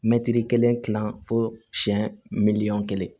Mɛtiri kelen kilan fo siɲɛ miliyɔn kelen